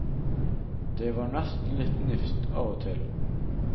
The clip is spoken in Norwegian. Det var nesten litt nifst av og til.